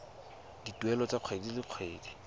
dituelo tsa kgwedi le kgwedi